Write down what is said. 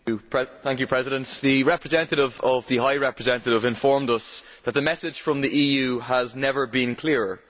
Mr President, the representative of the High Representative informed us that the message from the EU has never been clearer.